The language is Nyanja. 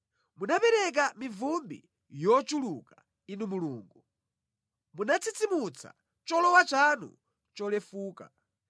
Munapereka mivumbi yochuluka, Inu Mulungu; munatsitsimutsa cholowa chanu cholefuka.